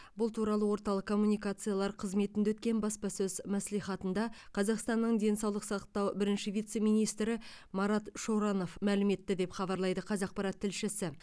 бұл туралы орталық коммуникациялар қызметінде өткен баспасөз мәслихатында қазақстанның денсаулық сақтау бірінші вице министрі марат шоранов мәлім етті деп хабарлайды қазақпарат тілшісі